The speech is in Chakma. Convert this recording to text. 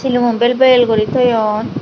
silumun bel bel guri toyon.